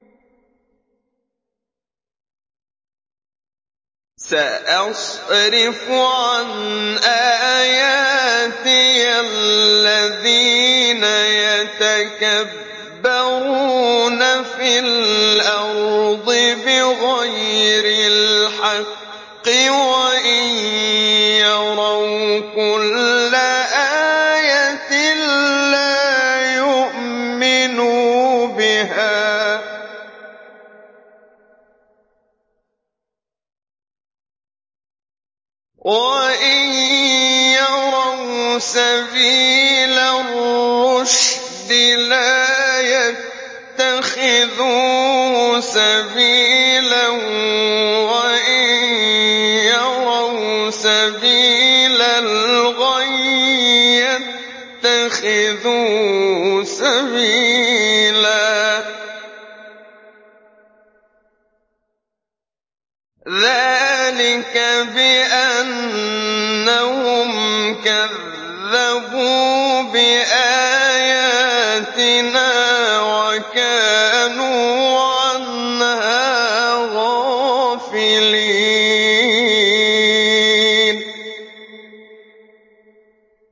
سَأَصْرِفُ عَنْ آيَاتِيَ الَّذِينَ يَتَكَبَّرُونَ فِي الْأَرْضِ بِغَيْرِ الْحَقِّ وَإِن يَرَوْا كُلَّ آيَةٍ لَّا يُؤْمِنُوا بِهَا وَإِن يَرَوْا سَبِيلَ الرُّشْدِ لَا يَتَّخِذُوهُ سَبِيلًا وَإِن يَرَوْا سَبِيلَ الْغَيِّ يَتَّخِذُوهُ سَبِيلًا ۚ ذَٰلِكَ بِأَنَّهُمْ كَذَّبُوا بِآيَاتِنَا وَكَانُوا عَنْهَا غَافِلِينَ